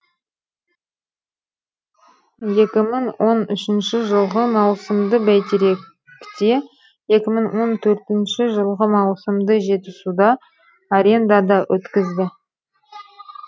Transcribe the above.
екі мың он үшінші жылғы маусымды бәйтеректе екі мың он төртінші жылғы маусымды жетісуда арендада өткізді